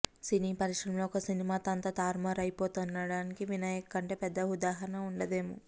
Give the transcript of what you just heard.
సినీ పరిశ్రమలో ఒక్క సినిమాతో అంతా తారుమారు అయిపోతుందనడానికి వినాయక్ కంటే పెద్ద ఉదాహరణ వుండదేమో